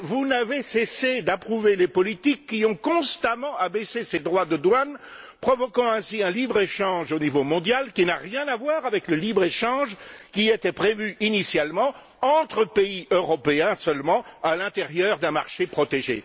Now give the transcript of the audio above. Mais vous n'avez cessé d'approuver les politiques qui ont constamment abaissé ces droits de douane, provoquant ainsi un libre échange au niveau mondial, qui n'a rien à voir avec le libre échange qui était prévu initialement, entre pays européens seulement, à l'intérieur d'un marché protégé.